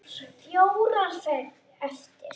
Fjórar eftir.